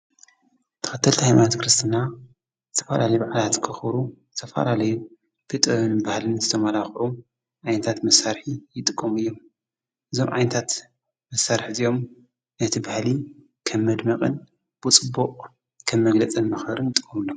ተኸተልቲ ሕይማኖት ክርስትና ዝተፈላለይ ባዕላት ክዂሩ ሰፈላለይ ብጥን ባሃልን ዘተማላቕዑ ኣይንታት ምሣርሕ ይጥቆም እዮም እዞም ዓይንታት መሣርሕ እዚኦም እቲ በሃሊ ከ መድምቕን ብጽቡቕ ከም መግለጸን ምኸርን ንጥቀመሉ።